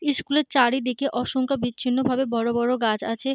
School এর চারিদিকে অসংখ্য বিচ্ছিন্ন ভাবে বড়ো বড়ো গাছ আছে।